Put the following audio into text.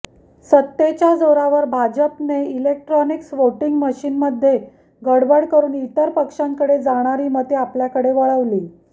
सत्तेच्या जोरावर भाजपाने इलेक्ट्रॉनिक्स व्होटिंग मशीनमध्ये गडबड करून इतर पक्षांकडे जाणारी मते आपल्याकडे वळवली